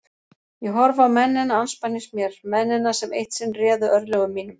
Ég horfi á mennina andspænis mér, mennina sem eitt sinn réðu örlögum mínum.